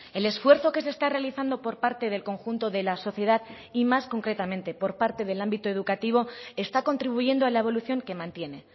el esfuerzo que se está realizando por parte del conjunto de la sociedad y más concretamente por parte del ámbito educativo está contribuyendo a la evolución que mantiene